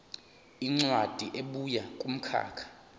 incwadi ebuya kumkhakha